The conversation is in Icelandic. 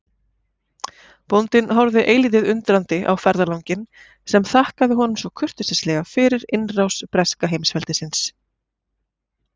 Bóndinn horfði eilítið undrandi á ferðalanginn sem þakkaði honum svo kurteislega fyrir innrás breska heimsveldisins.